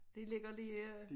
Det ligger lige øh